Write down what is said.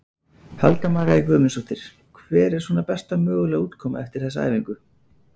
Helga María Guðmundsdóttir: Hver er svona besta mögulega útkoma eftir þessa æfingu?